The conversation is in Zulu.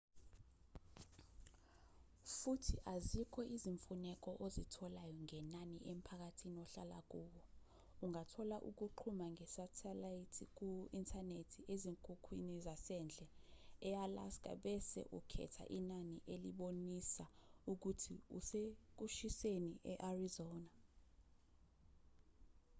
futhi azikho izimfuneko ozitholayo ngenani emphakathini ohlala kuwo ungathola ukuxhuma ngesethelithi ku-inthanethi ezinkukhwini zasendle e-alska bese ukhetha inani elibonisa ukuthi usekushiseni e-arizona